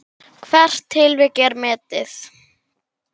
Hvert tilvik er metið.